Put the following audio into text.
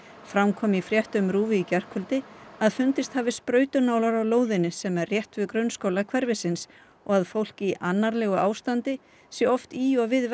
fram kom í fréttum RÚV í gærkvöldi að fundist hafi sprautunálar á lóðinni sem er rétt við grunnskóla hverfisins og að fólk í annarlegu ástandi sé oft í og við